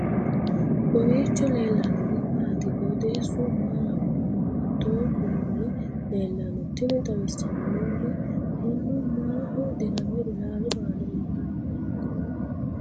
kowiicho leellannori maati ? qooxeessu maa lawaanno ? hiitoo kuuli leellanno ? tini xawissannori mannu maaho dirame ilallu aana uurre nooikka